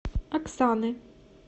оксаны